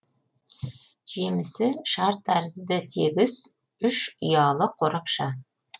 жемісі шар тәрізді тегіс үш ұялы қорапша